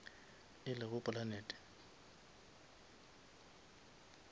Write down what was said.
e lego planete